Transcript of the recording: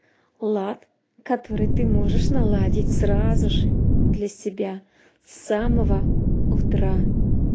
лад который ты можешь наладить сразу же для себя с самого утра